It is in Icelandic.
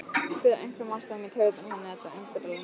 Fer af einhverjum ástæðum í taugarnar á henni þetta umburðarlyndi.